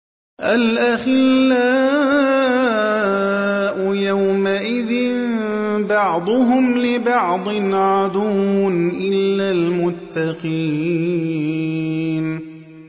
الْأَخِلَّاءُ يَوْمَئِذٍ بَعْضُهُمْ لِبَعْضٍ عَدُوٌّ إِلَّا الْمُتَّقِينَ